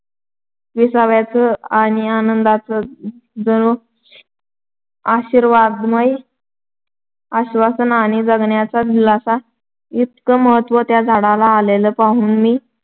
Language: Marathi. विसाव्याचं आणि आनंदाचं जणू आशीर्वादमय आश्‍वासन आणि जगण्याचा दिलासा इतकं महत्त्व त्या झाडाला आलेलं पाहून मी